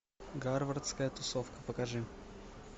гарвардская тусовка покажи